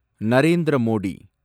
Narendra Modi